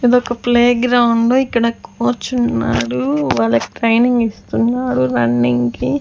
ఇదొక playground ఇక్కడ కూర్చున్నారు వాళ్ళకి ట్రైనింగ్ ఇస్తున్నారు రన్నింగ్ కి.